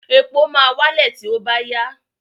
Epo máa wálẹ̀ tí ó bá yá.